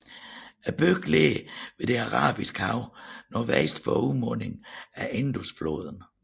Byen ligger ved det Arabiske Hav nordvest for udmundingen af Indusfloden